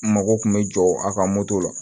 Mago kun bɛ jɔ a ka moto la